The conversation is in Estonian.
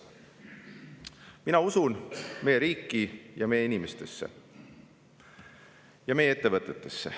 Mina usun meie riiki, meie inimestesse ja meie ettevõtetesse.